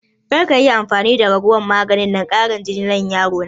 Karka yi amfani da raguwan maganin ƙarin jinin nan ma yaro na!